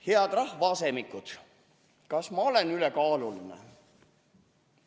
Head rahvaasemikud, kas ma olen ülekaaluline?